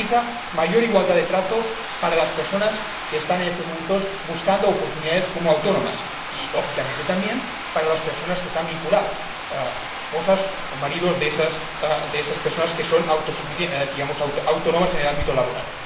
Garantiza mayor igualdad de trato para las personas que están en estos momentos buscando oportunidades como autónomas y, lógicamente, también para las personas que están vinculadas a ellas esposas o maridos de estas personas que son autónomas en el ámbito laboral.